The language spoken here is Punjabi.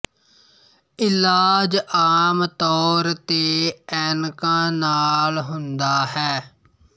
ਇਲਾਜ ਆਮ ਤੌਰ ਤੇ ਐਨਕਾਂ ਨਾਲ ਹੁੰਦਾ ਹੈ